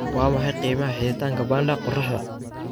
waa maxay qiimaha xidhitaanka panda qoraxda